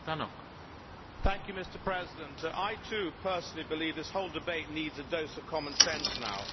Mr President, I, too, personally believe this whole debate needs a dose of common sense now.